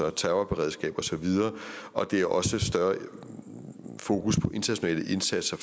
og terrorberedskab osv og det er også et større fokus på forebyggende internationale indsatser